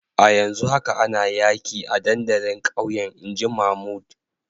A yanzu haka ana yaki a dandalin kauyen in ji Mahmood.